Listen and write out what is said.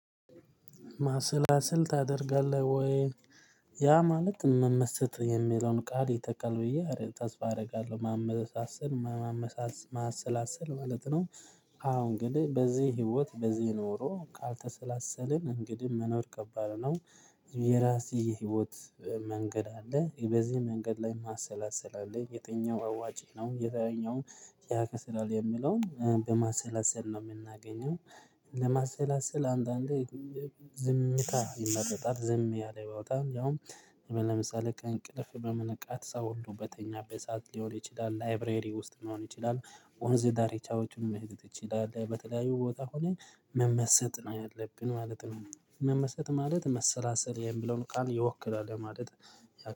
ማሰላሰል ታደርጋለህ ወይ? ያ ማለት መመሰጥ የሚለውን ቃል የተካል ብያ ተስፋ አደርጋለሁ ማመሰሰል ማሰላሰል ማለት ነው። አሁን ግን በዚህ ህይወት በዚህ ኖሮ ካልተሰላሰልን እንግዲህ መኖር ከባድ ነው። የራሴ የህይወት መንገድ አለ በዚህ መንገድ ላይ ማሰላሰል አለ የትኛው አዋጭ ነው የትኛውም ያከስራል የሚለውን በማሰላሰል ነው የምናገኘው። ለማሰላሰል አንዳንዴ ዝምታ ይመረጣል። ዝም ያለ ቦታ ያውም ለምሳሌ ቀን ከእንቅልፍ በመነቃት ሰው ሁሉ በተኛበት ሰዓት ሊሆን ይችላል ላይብረሪ ውስጥ ሊሆን ይችላል። ወነዝ ዳሪቻውችን መሄድ ትችላለህ በተለያዩ ቦታ ሆነን መመሰጥ ነው ያለብን ማለት ነው። መመሰጥ ማለት መሰላሰል የሚለውን ቃል ይወክላል ለማለት